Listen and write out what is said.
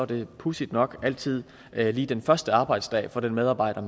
det pudsigt nok altid lige den første arbejdsdag for den medarbejder